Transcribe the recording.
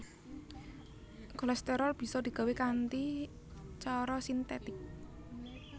Kolesterol bisa digawé kanthi cara sintetik